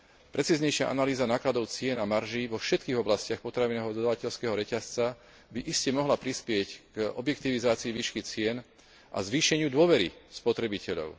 Precíznejšia analýza nákladov cien a marží vo všetkých oblastiach potravinového dodávateľského reťazca by iste mohla prispieť k objektivizácii výšky cien a zvýšeniu dôvery spotrebiteľov.